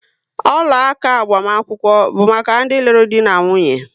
Ọla áká agbamakwụkwọ bu maka ndi lụrụ di na nwunye